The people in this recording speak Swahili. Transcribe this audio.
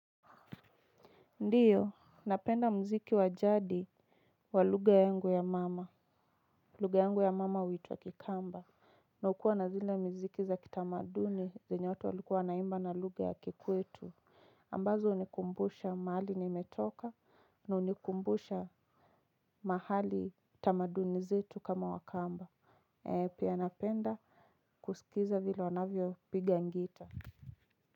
Ndiyo, napenda mziki wa jadi wa lugha yangu ya mama. Lugha yangu ya mama huitwa kikamba. Na hukua na zile mziki za kitamaduni zenye watu walikuwa wa naimba na lugha ya kikwetu. Ambazo hunikumbusha mahali nimetoka na hunikumbusha mahali tamaduni zetu kama wakamba. Pia napenda kusikiza vile wanavyo piga gita.